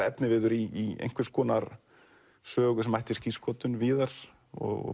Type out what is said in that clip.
efniviður í einhvers konar sögu sem ætti skírskotun víðar og